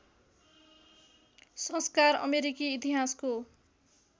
संस्कार अमेरिकी इतिहासको